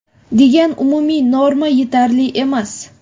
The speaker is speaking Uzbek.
degan umumiy norma yetarli emas.